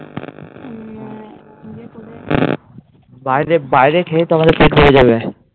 বাইরে খেয়ে তো আমাদের পেট ভরে যাবে।